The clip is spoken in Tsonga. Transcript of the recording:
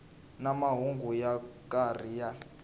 na mahungu yo karhi ya